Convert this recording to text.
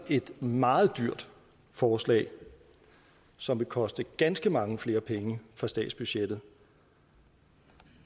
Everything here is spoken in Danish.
et meget dyrt forslag som vil koste ganske mange flere penge på statsbudgettet